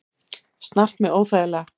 Snart mig óþægilega.